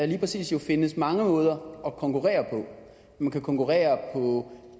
lige præcis findes mange måder at konkurrere på man kan konkurrere på